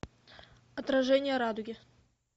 отражение радуги